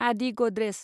आदि गद्रेज